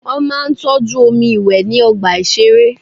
Wọ́n máa ń tọ́jú omi ìwé ní ọgbà ìṣeré.